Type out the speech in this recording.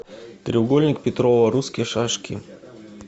треугольник петрова русские шашки